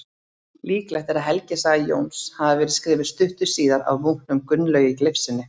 Líklegt er að helgisaga Jóns hafi verið skrifuð stuttu síðar af munknum Gunnlaugi Leifssyni.